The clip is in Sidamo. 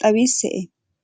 xawise`e?